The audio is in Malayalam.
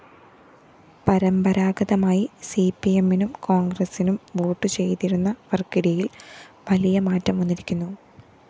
പരമ്പരാഗതമായി സിപിഎമ്മിനും കോണ്‍ഗ്രസ്സിനും വോട്ടുചെയ്തിരുന്നവര്‍ക്കിടയില്‍ വലിയ മാറ്റം വന്നിരിക്കുന്നു